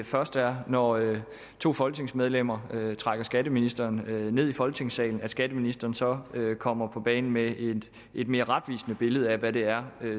først er når to folketingsmedlemmer trækker skatteministeren ned i folketingssalen at skatteministeren så kommer på banen med et mere retvisende billede af hvad det er